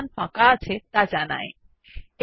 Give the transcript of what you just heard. দু কমান্ড যা জানায় ফাইল কতটা স্থান জুড়ে আছে